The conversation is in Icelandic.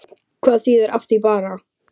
Hvað þýðir af því bara?